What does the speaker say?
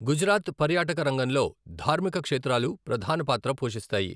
గుజరాత్ పర్యాటక రంగంలో ధార్మిక క్షేత్రాలు ప్రధాన పాత్ర పోషిస్తాయి.